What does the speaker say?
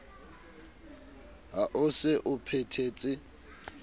ha o se o phethetse